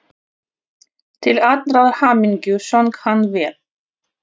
Til allrar hamingju söng hann vel!